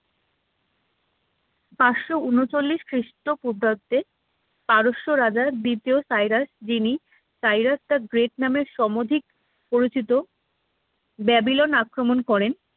পাঁচশোউনছল্লিশ খ্রিস্টপূর্বাব্দে পারস্য রাজা দ্বিতীয় সাইরাস যিনি সাইরাস the great নামের সমাধিক পরিচিত ব্যাবিলন আক্রমণ করেন